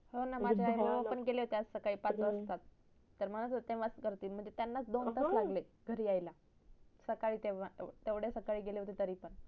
होणा माझे आई बाबा पण गेले होते आज सकाळी पाच वाजता तर म्हणत होते त्यांनाच दोन तास लागले घरी याला सकाळी गेले होते तरी पण